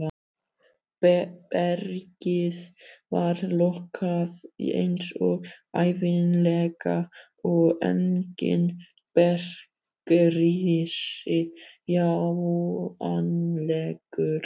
Bergið var lokað eins og ævinlega og enginn bergrisi sjáanlegur.